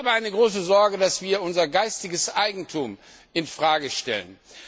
Ich habe die große Sorge, dass wir unser geistiges Eigentum in Frage stellen.